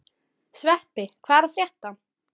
Sveppi, hvað er að frétta?